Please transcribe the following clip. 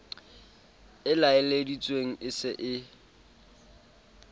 e laeleditsweng e se e